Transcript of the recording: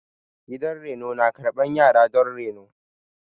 Gidan reno na karɓan yara don reno.